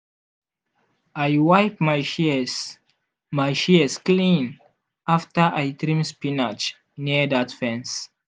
i wipe my shears my shears clean after i trim spinach near that fence.